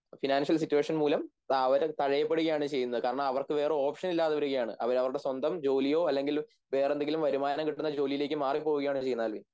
financial situation മൂലം അവര് തഴയപ്പെടുകയാണ് ചെയ്യുന്നത് കാരണം അവർക്ക് വേറെ ഓപ്ഷൻ ഇല്ലാതെ വരികയാണ് അവരവരുടെ സ്വന്തം ജോലിയോ അല്ലങ്കിൽ വേറെന്തെങ്കിലും വരുമാനംകിട്ടുന്ന ജോലിയിലേക്ക് മാറിപോവുകയാണവർ ചെയ്യുന്നത് ആൽവിൻ